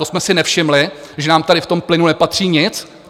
To jsme si nevšimli, že nám tady v tom plynu nepatří nic?